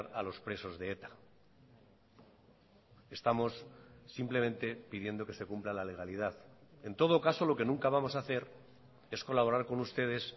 a los presos de eta estamos simplemente pidiendo que se cumpla la legalidad en todo caso lo que nunca vamos a hacer es colaborar con ustedes